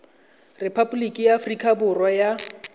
repaboliki ya aforika borwa ya